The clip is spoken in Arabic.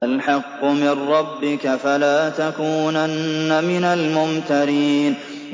الْحَقُّ مِن رَّبِّكَ ۖ فَلَا تَكُونَنَّ مِنَ الْمُمْتَرِينَ